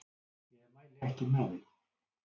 Ég mæli ekki með því.